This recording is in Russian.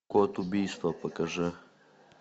код убийства покажи